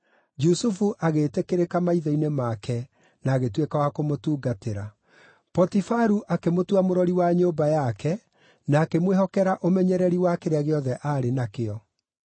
Jusufu agĩĩtĩkĩrĩka maitho-inĩ make na agĩtuĩka wa kũmũtungatĩra. Potifaru akĩmũtua mũrori wa nyũmba yake na akĩmwĩhokera ũmenyereri wa kĩrĩa gĩothe aarĩ nakĩo.